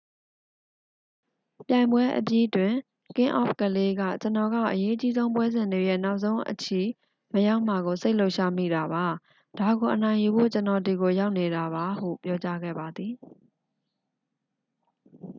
"ပြိုင်ပွဲအပြီးတွင် ကင်းအောဖ်ကလေး က "ကျွန်တော်က အရေးအကြီးဆုံးပွဲစဉ်တွေရဲ့ နောက်ဆုံးအချီမရောက်မှာကို စိတ်လှုပ်ရှားမိတာပါ။ ဒါကိုအနိုင်ယူဖို့ ကျွန်တော်ဒီကိုရောက်နေတာပါ၊" ဟု ပြောကြားခဲ့ပါသည်။